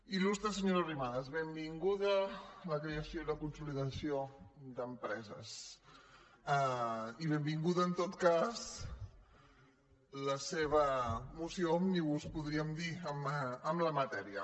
il·lustre senyora arrimadas benvinguda a la creació i la consolidació d’empreses i benvinguda en tot cas la seva moció òmnibus podríem dir en la matèria